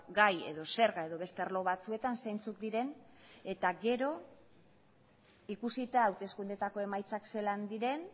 gai edo zerga edo beste arlo batzuetan zeintzuk diren eta gero ikusita hauteskundeetako emaitzak zelan diren